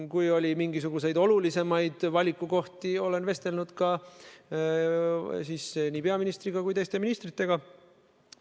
Kui oli mingisuguseid olulisemaid valikukohti, vestlesin ka peaministri ja teiste ministritega.